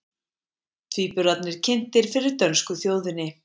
Tvíburarnir kynntir fyrir dönsku þjóðinni